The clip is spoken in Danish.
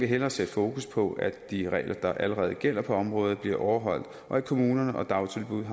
hellere sætte fokus på at de regler der allerede gælder på området bliver overholdt og at kommunerne og dagtilbuddene